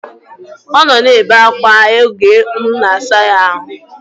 Ọ nọ na-ebe akwa oge mụ na-asa ya ahụ